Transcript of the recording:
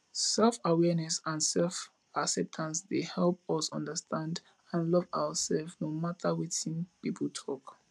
selfawareness and selfacceptance dey help us understand and love ourselves no matter wetin people talk